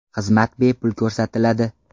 Xizmat bepul ko‘rsatiladi.